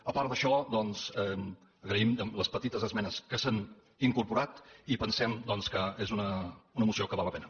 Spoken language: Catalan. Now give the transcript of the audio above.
a part d’això doncs agraïm les petites esmenes que s’hi han incorporat i pensem que és una moció que val la pena